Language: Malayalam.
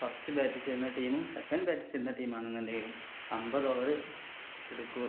first bat ചെയ്യുന്ന team second bat ചെയ്യുന്ന team ആണ്ന്ന് ഇണ്ടെങ്കിലും അമ്പത് over എടുക്കു